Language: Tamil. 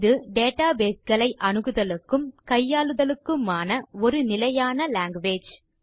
இது டேட்டாபேஸ் ஐ அணுகுதலுக்கும் கையாளுதலுக்குமான ஒரு நிலையான லாங்குவேஜ்